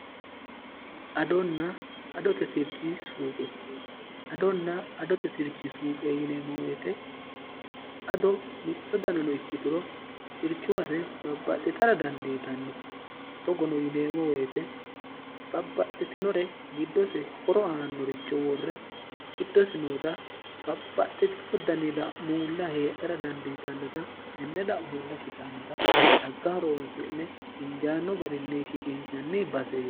adonna adote sirchi suuqe adonna adote sirchi suuqe yineemo woyite ado mitto danano ikki turo sirchuwase babbaxxitara dandiitanno togono yineemo woyite bapaxxitinore giddose horo aannoricho worre kiddose noota bapaxxitino danida'muulla heedhera dandiitannota tenne dha'muulla shitannota xagga horoonsi'ne injaanno garinni shiqiinshanni baseeo